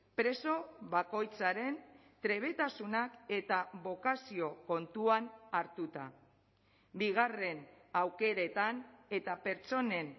preso bakoitzaren trebetasunak eta bokazio kontuan hartuta bigarren aukeretan eta pertsonen